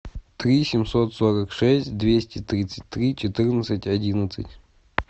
три семьсот сорок шесть двести тридцать три четырнадцать одиннадцать